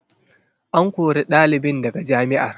An kori ɗalibin daga jami'ar.